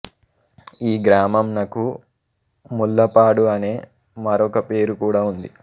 ఈ గ్రామంనకు ముళ్ళపాడు అనే మరొక పేరు కూడా ఉంది